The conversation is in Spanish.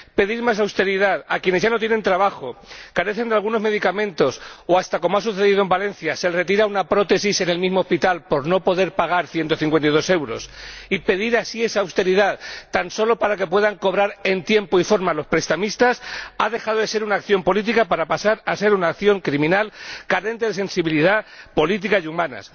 Pedir más austeridad a quienes ya no tienen trabajo, carecen de algunos medicamentos o hasta ―como ha sucedido en Valencia― se les retira una prótesis en el mismo hospital por no poder pagar ciento cincuenta y dos euros, y pedir esa austeridad tan solo para que puedan cobrar en tiempo y forma los prestamistas, ha dejado de ser una acción política para pasar a ser una acción criminal, carente de sensibilidad política y humana.